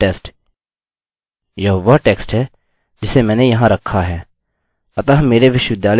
और this is a test यह वह टेक्स्ट है जिसे मैंने वहाँ रखा है